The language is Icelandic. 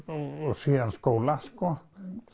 síðan skóla sko